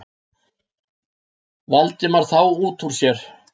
Valdimar þá út úr sér.